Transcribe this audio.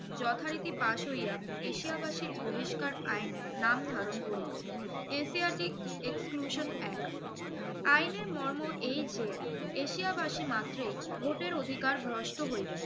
যথারীতি পাশ হইয়া এশিয়াবাসীর বহিষ্কার আইন নাম ধারণ করিল। asiatic exclusion act asiatic exclusion act আইনের মর্ম এই যে এশিয়াবাসী মাত্রই ভোটার অধিকার ভ্রষ্ট হইবেন।